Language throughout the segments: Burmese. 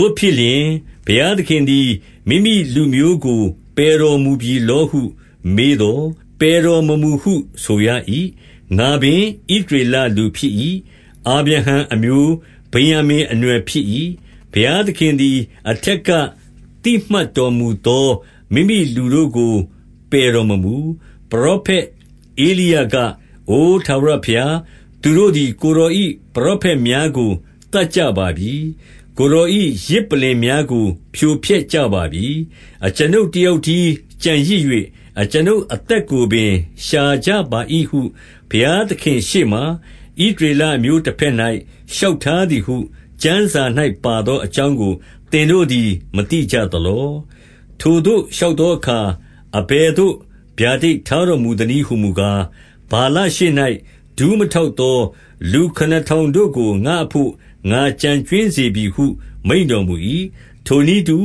ို့ဖြစ်လျှင်၊ ဘုရားသခင်သည် မိမိလူမျိုးကို ပယ်တော်မူပြီလောဟုမေးသော်၊ ပယ်တော်မမူဟုဆိုရ၏။ ငါပင်ဣသရေလ လူဖြစ်၏။ အာဗြဟံအမျိုး၊ ဗင်္ယာမိန် အနွယ်ဖြစ်၏။ 2 ဘုရားသခင်သည် အထက်က သိမှတ်တော်မူသော မိမိလူတို့ကို ပယ်တော်မမူ။ ပရောဖက်ဧလိယက၊ အိုထာဝရဘုရား၊ 3 သူတို့သည်ကိုယ်တော်၏ ပရောဖက်များကို သတ်ကြပါပြီ။ ကိုယ်တော်၏ယဇ်ပလ္လင်များကို ဖြိုဖျက် ကြပါပြီ။ အကျွန်ုပ်တယောက်တည်းကျန်ရစ်၍၊ အကျွန်ုပ် အသက်ကိုပင် ရှာကြပါ၏ဟု ဘုရားသခင်ရှေ့မှာ ဣသရေလအမျိုးတဘက်၌လျှောက်ထားသည်ဟု ကျမ်းစာ၌ ပါသော အကြောင်းကိုသင်တို့သည် မသိကြသလော။ 4 ထိုသို့လျှောက်သောအခါ၊ အဘယ်သို့ ဗျာဒိတ် ထားတော်မူသနည်းဟူမူကား၊ ဗာလရှေ့၌ ဒူးမထောက် သောလူခုနစ်ထောင်တို့ကို ငါ့အဘို့ ငါကျန်ကြွင်းစေပြီ ဟုမိန့်တော်မူ၏။ 5 ထိုနည်းတူ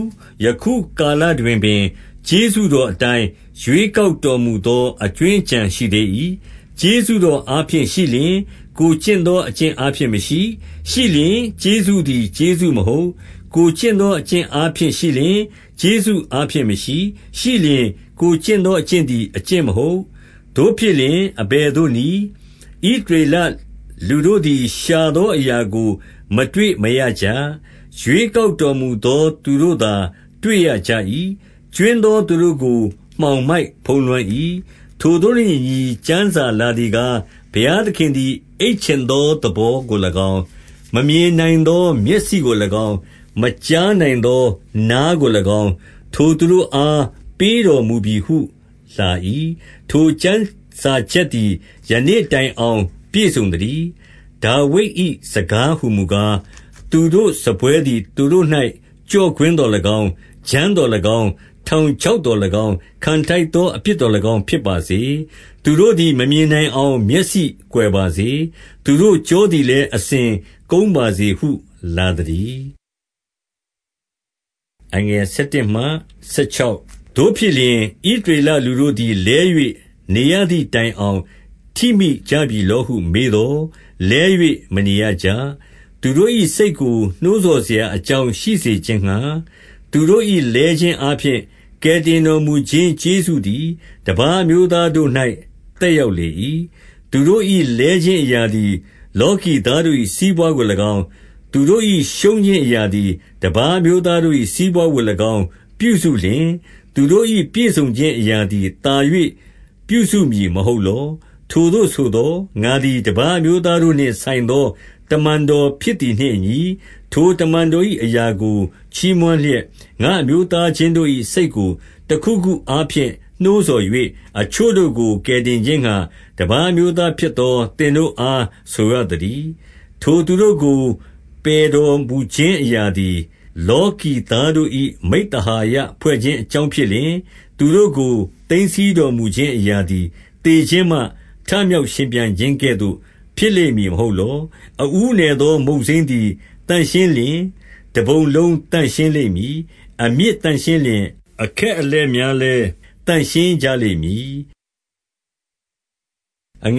၊ ယခုကာလတွင်ပင် ကျေးဇူးတော်အတိုင်း ရွေကောက်တော်မူသော အကြွင်းအကျန် ရှိသေး၏။ 6 ကျေးဇူးတော်အားဖြင့်ရှိလျှင်၊ ကိုယ်ကျင့်သောအကျင့်အားဖြင့်မရှိ၊ ရှိလျှင်ကျေးဇူးသည် ကျေးဇူးမဟုတ်။ ကိုယ်ကျင့်သောအကျင့်အားဖြင့်ရှိလျှင်၊ ကျေးဇူးအားဖြင့်မရှိ၊ ရှိလျှင်ကိုယ်ကျင့်သောအကျင့်သည် အကျင့် မဟုတ်။ 7 သို့ဖြစ်လျှင်အဘယ်သို့နည်း၊ ဣသရေလလူတို့သည် ရှာသောအရာကို မတွေ့မရကြ။ ရွေးကောက်တော်မူသော သူတို့သာ တွေ့ရကြ၏။ ကြွင်းသောသူတို့ကို မှောင်မိုက်ဖုံးလွှမ်း၏။ 8 ထိုသို့နှင့်အညီ ကျမ်းစာလာသည်ကား၊ ဘုရားသခင်သည် အိပ်ချင်သောသဘောကို၎င်း၊ မမြင်နိုင်သော မျက်စိကို၎င်း၊ မကြားနိုင်သော နားကို၎င်း၊ ထိုသူတို့အား ပေးတော်မူပြီဟုလာ၏။ ထိုကျမ်းစာချက်သည် ယနေ့ တိုင်အောင်ပြည့်စုံသတည်း။ 9 ဒါဝိဒ်၏စကားဟူမူကား၊ သူတို့စားပွဲသည် သူတို့၌ ကျော့ကွင်းသော်၎င်း၊ ဂျမ်းသော်၎င်း၊ ထောင် ချောက်သော်၎င်း၊ ခံထိုက်သော အပြစ်သော်၎င်း ဖြစ်ပါစေ။ 10 သူတို့သည်မမြင်နိုင်အောင်မျက်စိကွယ်ပါစေ။ သူတို့ကျောသည်လည်း အစဉ်ကုန်းပါစေဟု လာ သတည်း။ 11 သို့ဖြစ်လျှင်၊ ဣသရေလလူတို့သည်လဲ၍ နေရသည်တိုင်အောင် ထိမိကြပြီလောဟု မေးသော်၊ လဲ၍မနေရကြ။ သူတို့၏စိတ်ကို နှိုးဆော်စရာအကြောင်း ရှိစေခြင်းငှါ၊ သူတို့၏လဲခြင်းအားဖြင့် ကယ်တင်တော် မူခြင်း ကျေးဇူးသည်တပါးအမျိုးသားတို့၌ သက်ရောက် လေ၏။ 12 သူတို့၏လဲခြင်းအရာသည် လောကီသားတို့၏ စီးပွါးကို၎င်း၊ သူတို့၏ရှုံးခြင်းအရာသည်တပါး အမျိုးသား တို့၏ စီးပွါးကို၎င်း ပြုစုလျှင်၊ သူတို့၏ ပြည့်စုံခြင်းအရာသည်သာ၍ ပြုစုမည်မဟုတ်လော။ 13 ထိုသို့ဆိုသော်၊ 14 ငါသည်တပါးအမျိုးသားတို့နှင့်ဆိုင်သော တမန်တော်ဖြစ်သည်နှင့်အညီ၊ ထိုတမန်တော် ၏ အရာကို ချီးမွမ်းလျက်၊ ငါ့အမျိုးသားချင်းတို့၏ စိတ်ကို တခုခုအားဖြင့်နှိုးဆော်၍၊ အချို့တို့ကို ကယ်တင်ခြင်းငှါ၊ တပါးအမျိုးသားဖြစ်သော သင်တို့အားဆိုရသတည်း။ 15 ထိုသူတို့ကို ပယ်တော်မူခြင်းအရာသည် လောကီသားတို့၏ မိဿဟာယဖွဲ့ခြင်းအကြောင်း ဖြစ်လျှင်၊ သူတို့ကို သိမ်းဆည်းတော်မူခြင်းအရာသည် သေခြင်းမှထမြောက်ရှင်ပြန်ခြင်းကဲ့သို့ ဖြစ်လိမ့်မည် မဟုတ်လော။ 16 အဦးနယ်သော မုန့်စိမ်းသည်သန့်ရှင်းလျှင်၊ တပုံလုံးသန့်ရှင်းလိမ့်မည်။ အမြစ်သန့်ရှင်းလျှင်၊ အခက် အလက်များလည်း သန့်ရှင်းကြလိမ့်မည်။ 17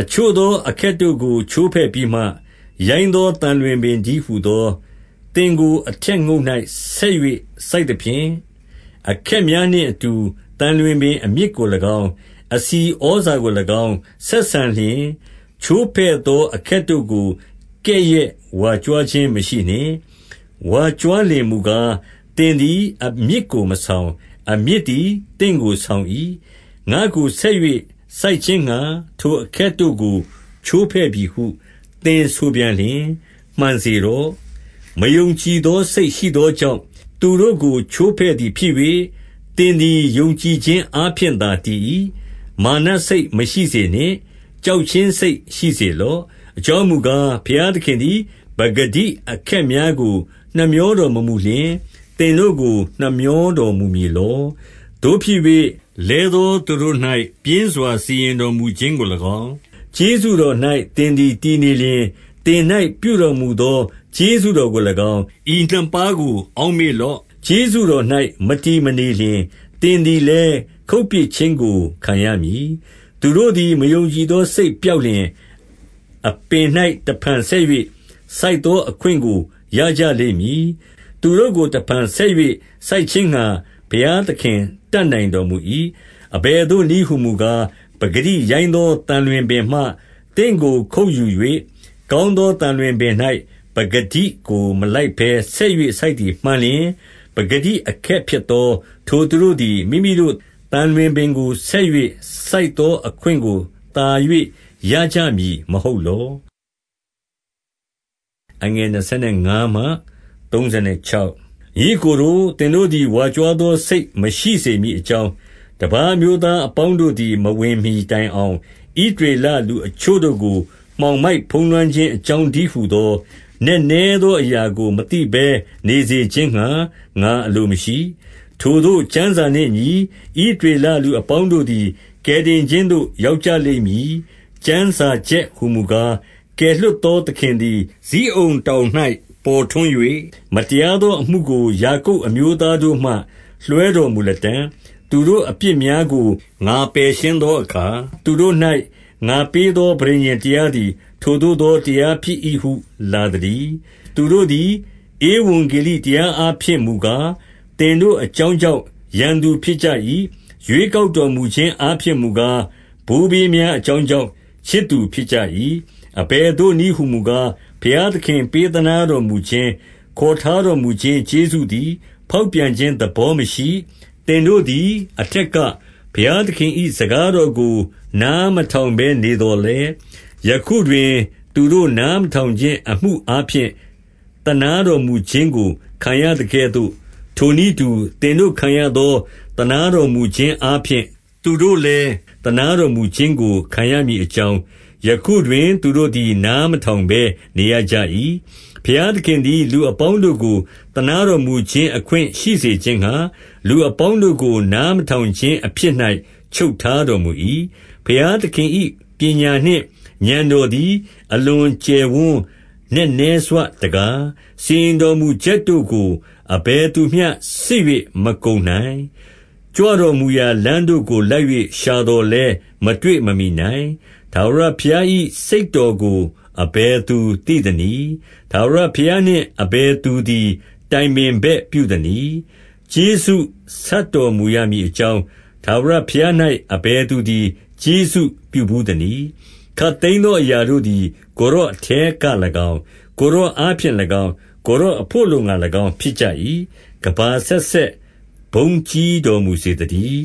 အချို့သောအခက်တို့ကို ချိုးဖဲ့ပြီးမှ၊ ရိုင်းသော သံလွင့်ပင်တည်းဟူသော သင်ကို အထက်ငုတ်၌ ဆက်၍ စိုက်သဖြင့်၊ အခက်များနှင့် အတူသံလွင်ပင်အမြစ်ကို၎င်း၊ အဆီဩဇာကို၎င်း ဆက်ဆံလျှင်၊ ချိုးဖဲ့သော အခက်တို့ကို ကဲ့ရဲ့ဝါကြွားခြင်းမရှိနှင့်။ 18 ဝါကြွားလျှင်မူကား၊ သင်သည်အမြစ်ကို မဆောင်၊ အမြစ်သည် သင့်ကိုဆောင်၏။ 19 ငါ့ကိုဆက်၍စိုက်ခြင်းငှါထိုအခက်တို့ကို ချိုးဖဲ့ ပြီဟု သင်ဆိုပြန်လျှင်၊ မှန်စေတော့။ 20 မယုံကြည်သောစိတ်ရှိသောကြောင့် သူတို့ ကိုချိုးဖဲ့သည်ဖြစ်၍၊ သင်သည်ယုံကြည်ခြင်းအားဖြင့်သာ တည်၏။ မာနစိတ်မရှိစေနှင့်။ ကြောက်ခြင်းစိတ်ရှိစေလော့။ 21 အကြောင်းမူကား၊ ဘုရားသခင်သည် ပကတိ အခက်များကို နှမြောတော်မမူလျှင်၊ သင်တို့ကို နှမြော တော်မူမည်လော။ 22 သို့ဖြစ်၍၊ လဲသောသူတို့၌ ပြင်းစွာ စီရင်တော်မူခြင်းကို၎င်း၊ ကျေးဇူးတော်၌သင်သည် တည်နေလျှင်၊ သင်၌ပြုတော်မူသော ကျေးဇူးတော်ကို၎င်း၊ ဤနှစ်ပါးကို အောက်မေ့လော့။ ကျေးဇူးတော်၌မတည်မနေလျှင်၊ သင်သည်လည်းခုတ်ပစ်ခြင်းကိုခံရမည်။ 23 သူတို့သည်မယုံကြည်သောစိတ်ပျောက်လျှင်၊ အပင်၌တဖန် ဆက်၍စိုက်သောအခွင့်ကို ရကြလိမ့်မည်။ သူတို့ကို တဖန်ဆက်၍ စိုက်ခြင်းငှါ ဘုရားသခင်တတ်နိုင်တော်မူ၏။ 24 အဘယ်သို့နည်းဟူမူကား၊ ပကတိရိုင်းသော သံလွင်ပင်မှ သင့်ကိုခုတ်ယူ၍၊ ကောင်းသော သံလွင်ပင်၌ ပကတိကို မလိုက်ဘဲ ဆက်၍စိုက်သည် မှန်လျှင်၊ ပကတိအခက်ဖြစ်သော ထိုသူတို့သည် မိမိတို့ သံလွင်ပင်၌ ဆက်၍စိုက်သောအခွင့်ကို သာ၍ရကြမည် မဟုတ်လော။ 25 ညီအစ်ကိုတို့၊ သင်တို့သည် ဝါကြွားသောစိတ်မရှိစေမည်အကြောင်း၊ တပါးအမျိုးသားအပေါင်း တို့သည် မဝင်မှီတိုင်အောင်၊ ဣသရေလလူအချို့တို့ကို မှောင်မိုက်ဖုံးလွှမ်းခြင်းအကြောင်းတည်းဟူသော နက်နဲ သောအရာကို မသိဘဲနေစေခြင်းငှါ ငါအလိုမရှိ။ 26 ထိုသို့ကျမ်းစာနှင့်အညီ၊ ဣသရေလလူ အပေါင်းတို့သည် ကယ်တင်ခြင်းသို့ ရောက်ကြလိမ့်မည်။ ကျမ်းစာချက်ဟူမူကား၊ ကယ်လွှတ်သောသခင်သည် ဇိအုန်တောင်၌ ပေါ်ထွန်း၍၊ မတရားသော အမှုကို ယာကုပ်အမျိုးသားတို့မှ လွှဲတော်မူလတံ့၊ 27 သူတို့အပြစ်များကို ငါပယ်ရှင်းသောအခါ၊ သူတို့၌ ငါပေးသော ပဋိညာဉ်တရားသည် ထိုသို့သော တရားဖြစ်၏ဟု လာသတည်း။ 28 သူတို့သည် ဧဝံဂေလိတရားအားဖြင့်မူကား သင်တို့အကြောင်းကြောင့် ရန်သူဖြစ်ကြ၏။ ရွေးကောက် တော်မူခြင်းအားဖြင့်မူကား၊ ဘိုးဘေးများအကြောင်းကြောင့် ချစ်သူဖြစ်ကြ၏။ 29 အဘယ်သို့နည်းဟူမူကား၊ ဘုရားသခင် ပေးသနားတော်မူခြင်း၊ ခေါ်ထားတော်မူခြင်း ကျေးဇူးသည် ဖောက်ပြန်ခြင်းသဘောမရှိ၊ 30 သင်တို့သည်အထက်က၊ ဘုရားသခင်၏ စကားတော်ကို နားမထောင်ဘဲနေသော်လည်း၊ ယခုတွင် သူတို့ နားမထောင်ခြင်းအမှုအားဖြင့်၊ သနားတော်မူခြင်း ကို ခံရသကဲ့သို့၊ 31 ထိုနည်းတူ၊ သင်တို့ခံရသော သနားတော်မူခြင်းအားဖြင့် သူတို့လည်းသနားတော်မူခြင်းကို ခံရမည် အကြောင်း၊ ယခုတွင်သူတို့သည် နားမထောင်ဘဲ နေရကြ၏။ 32 ဘုရားသခင်သည် လူအပေါင်းတို့ကို သနားတော်မူခြင်း အခွင့်ရှိစေခြင်းငှါ လူအပေါင်းတို့ကို နားမထောင်ခြင်းအဖြစ်၌ ချုပ်ထားတော်မူ၏။ 33 ဘုရားသခင်၏ပညာနှင့် ဥာဏ်တော်သည် အလွန်ကျယ်ဝန်း နက်နဲစွတကား။ စီရင်တော်မူချက်တို့ကို အဘယ်သူမျှစစ်၍ မကုန်နိုင်။ ကြွတော်မူရာလမ်းတို့ကို လိုက်၍ရှာသော်လည်းမတွေ့မမှီနိုင်။ 34 ထာဝရဘုရား၏စိတ်တော်ကို အဘယ်သူသိသနည်း။ ထာဝရဘုရားနှင့်အဘယ်သူသည် တိုင်ပင် ဘက်ပြုသနည်း။ 35 ကျေးဇူးဆပ်တော်မူရမည်အကြောင်း၊ ထာဝရ ဘုရား၌ အဘယ်သူသည် ကျေးဇူးပြုဘူးသနည်း။ 36 ခပ်သိမ်းသောအရာတို့သည် ကိုယ်တော်အထဲက၎င်း၊ ကိုယ်တော်အားဖြင့်၎င်း၊ ကိုယ်တော်အဘို့ အလိုငှါ၎င်း ဖြစ်ကြ၏။ ကမ္ဘာအဆက်ဆက် ဘုန်းကြီးတော်မူစေသတည်